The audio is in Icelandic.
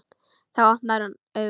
Þá opnar hann augun.